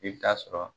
I bɛ taa sɔrɔ